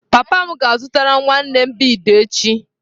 Papa m ga-azụtara m nwanne m bead echi.